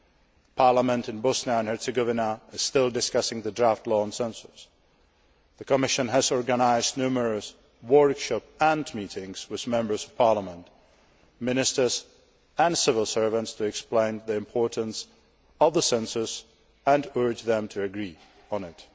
The parliament in Bosnia and Herzegovina is still discussing the draft law on census. The Commission has organised numerous workshops and meetings with Members of Parliament, Ministers and civil servants to explain the importance of the census and urge them to agree on